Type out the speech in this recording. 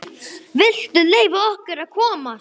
VILTU LEYFA OKKUR AÐ KOMAST!